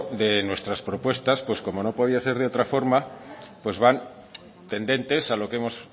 de nuestras propuestas como no podía ser de otra forma van tendentes a lo que hemos